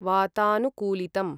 वातानुकूलितम्